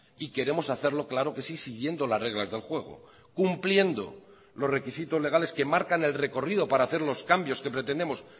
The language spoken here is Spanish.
y queremos hacerlo claro que sí siguiendo las reglas del juego cumpliendo los requisitos legales que marcan el recorrido para hacer los cambios que pretendemos